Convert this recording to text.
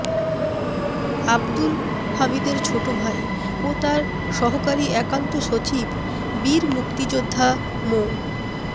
আবদুল হামিদের ছোট ভাই ও তার সহকারী একান্ত সচিব বীর মুক্তিযোদ্ধা মো